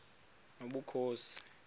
nobukhosi